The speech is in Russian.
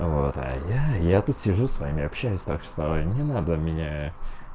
вот я я тут сижу с вами общаюсь так что не надо меня